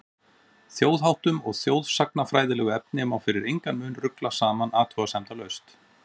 Þjóðháttum og þjóðsagnafræðilegu efni má fyrir engan mun rugla saman athugasemdalaust.